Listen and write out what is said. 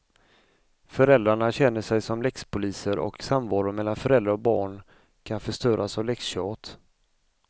Föräldrarna känner sig som läxpoliser och samvaron mellan föräldrar och barn kan förstöras av läxtjat.